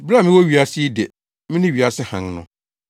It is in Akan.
Bere a mewɔ wiase yi de, mene wiase hann no.”